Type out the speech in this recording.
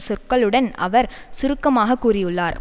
சொற்களுடன் அவர் சுருக்கமாக கூறியுள்ளார்